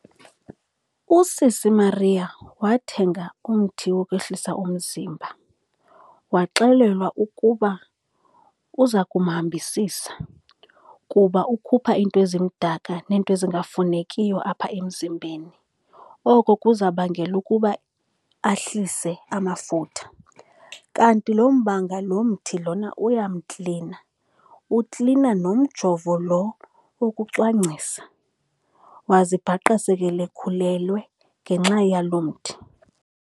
Usisi Mariya wathenga umthi wokwehlisa umzimba, waxelelwa ukuba uza kumhambisisa kuba ukhupha iinto ezimdaka neento ezingafunekiyo apha emzimbeni. Oko kuzabangela ukuba ahlise amafutha, kanti loo mbanga, lo mthi lona uyamklina, uklina nomjovo lo wokucwangcisa. Wazibhaqa sekelekhulelwe ngenxa yalo mthi.